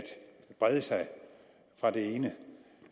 brede sig fra det ene